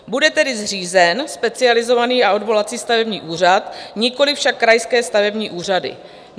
Bude tedy zřízen Specializovaný a odvolací stavební úřad, nikoli však krajské stavební úřady.